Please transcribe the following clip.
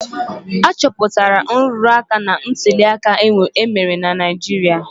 A chọpụtara nrụrụ aka na ntuli aka emere na Naijiria.